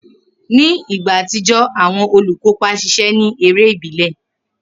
Ni igba atijọ, awọn olukopa ṣiṣẹ ni ere ibile.